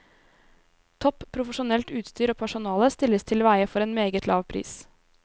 Topp profesjonelt utstyr og personale stilles til veie for meget lav pris.